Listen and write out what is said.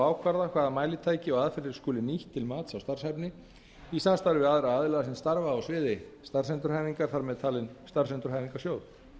ákvarða hvaða mælitæki og aðferðir skuli nýtt til mats á starfshæfni í samstarfi við aðra aðila aðra sem starfa á sviði starfsendurhæfingar þar með talin starfsendurhæfingarsjóð